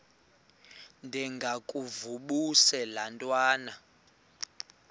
ndengakuvaubuse laa ntwana